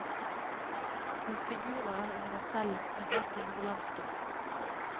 Hans figurer er universelle, men alltid nordlandske.